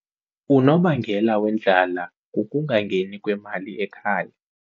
Unobangela wendlala kukungangeni kwemali ekhaya.